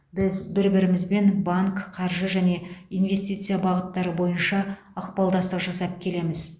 біз бір бірімізбен банк қаржы және инвестиция бағыттары бойынша ықпалдастық жасап келеміз